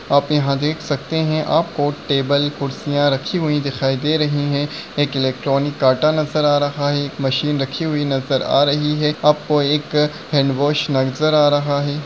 आप यहा देख सकते है आपको टेबल कुर्सिया रखी हुई दिखाई दे रही है एक एलेक्ट्रोनिक काटा नज़र आ रहा है एक मशीन रखी हुई नज़र आ रही है आपको एक हण्ड्वॉश नज़र आ रहा है।